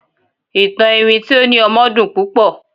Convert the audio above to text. ìtàn iwin ti o ni ọmọ dun pupo